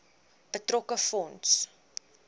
betrokke fonds